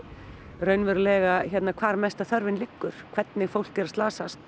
hvar mesta þörfin liggur hvernig fólk er að slasast